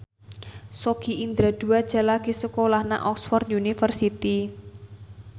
Sogi Indra Duaja lagi sekolah nang Oxford university